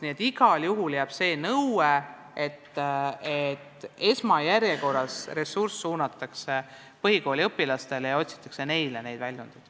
Nii et igal juhul jääb see nõue, et esmajärjekorras suunatakse ressurss põhikooliõpilastele ja otsitakse neile neid väljundeid.